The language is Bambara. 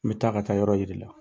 N bɛ taa ka taa yɔrɔ yiri la